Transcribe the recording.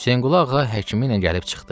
Hüseynqulu Ağa həkimi ilə gəlib çıxdı.